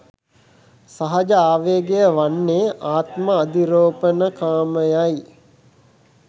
සහජ ආවේගය වන්නේ ආත්ම අධිරෝපණකාමයයි.